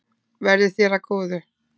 Verði þér að góðu.